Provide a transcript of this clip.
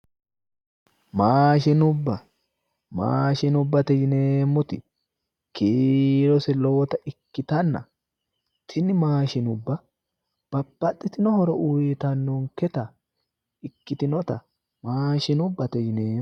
Maashinubba, maashinubbatte yineemoti kiirose lowotta ikkitanna tini maashinubba babbaxitinno horo uyiitannoketta ikkitinotta maashinubbatte yineemo.